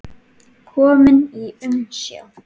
Kominn í umsjá